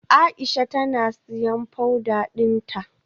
Aisha tana siyan powder dinta.